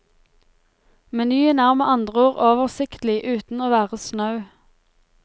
Menyen er med andre ord oversiktlig uten å være snau.